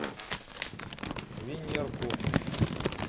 венерку